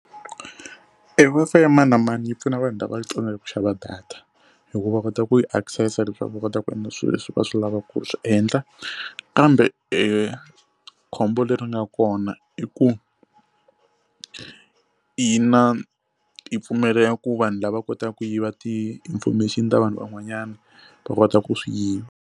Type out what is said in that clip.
E Wi-Fi ya mani na mani yi pfuna vanhu lava tsandzekaka ku xava data hi ku va kota ku yi access-a leswaku va kota ku endla swilo leswi va swi lavaka ku swi endla kambe khombo leri nga kona i ku yi na yi pfumelela ku vanhu lava kotaku ku yiva ti-information ta vanhu van'wanyana va kota ku swi yiva.